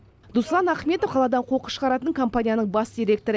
дуслан ахметов қаладан қоқыс шығаратын компанияның бас директоры